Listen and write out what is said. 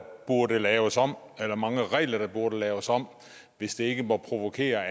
burde laves om eller mange regler der burde laves om hvis det ikke må provokere